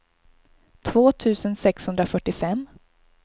två tusen sexhundrafyrtiofem